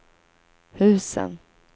husen